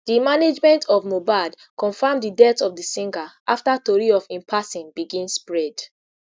di management of mohbad confam di death of di singer afta tori of im passing begin spread